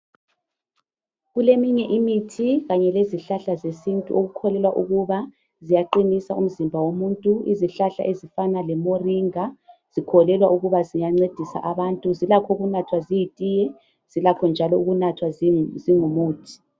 Kuleminye imithi kanye lezihlahla zesintu okukholelwa ukuba ziyaqinisa umzimba womuntu .Izihlahla ezifana lemoringa zikholelwa ukuba ziyancedisa abantu .Zilakho ukunathwa ziyitiye. Zilakho njalo ukunathwa zingumuthi .